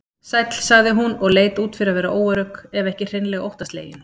Sæll, sagði hún og leit út fyrir að vera óörugg, ef ekki hreinlega óttaslegin.